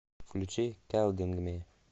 включи келдингми